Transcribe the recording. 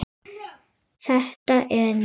Þetta er nýtt!